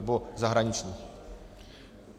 Nebo zahraničních.